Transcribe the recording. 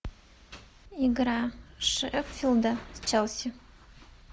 игра шеффилда с челси